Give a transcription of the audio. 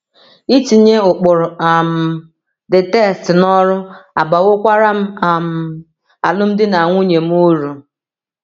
Itinye ụkpụrụ um the text n’ọrụ abawokwara um alụmdi na nwunye m uru.